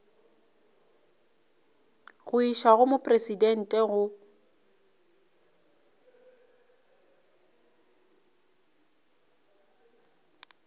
go išwa go mopresidente go